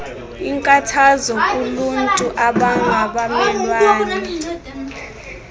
inkathazo kuluntu abangabamelwane